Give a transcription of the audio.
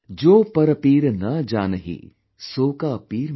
जोपरपीरनजानही , सोकापीरमेंपीर ||